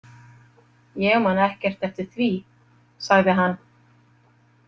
Ég man ekkert eftir því, sagði hann.